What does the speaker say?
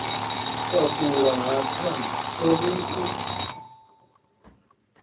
takula ha thanda thomi u